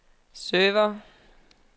server